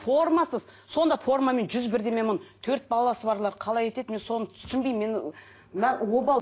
формасыз сонда формамен жүз бірдеме мың төрт баласы барлар қалай етеді мен соны түсінбеймін мен обал